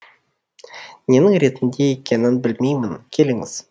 ненің ретінде екенін білмеймін келіңіз